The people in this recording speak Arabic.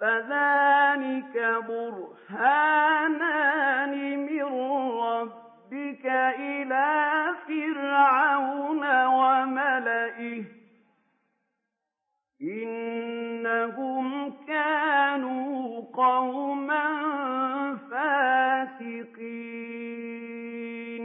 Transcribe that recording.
فَذَانِكَ بُرْهَانَانِ مِن رَّبِّكَ إِلَىٰ فِرْعَوْنَ وَمَلَئِهِ ۚ إِنَّهُمْ كَانُوا قَوْمًا فَاسِقِينَ